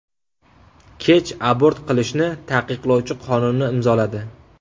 Kech abort qilishni taqiqlovchi qonunni imzoladi .